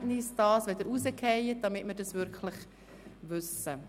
Sagen Sie uns, wenn die Verbindung unterbricht, damit wir es wirklich wissen.